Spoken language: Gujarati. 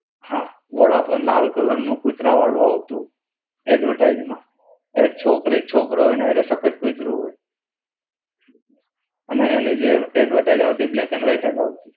હા, વોડાફોન લાલ કલરનું કુતરા વાળું આવતું. એડ્વર્ટાઇઝ માં. એક છોકરો એક છોકરો હોય ને સફેદ કૂતરું હોય. એન્ડ એની જે એડ્વર્ટાઇઝ આવતી એ બ્લેક એન્ડ વાઈટ જ આવતી